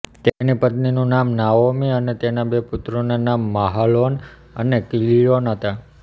તેની પત્નીનું નામ નાઓમી અને તેના બે પુત્રોના નામ માહલોન અને કિલ્યોન હતાં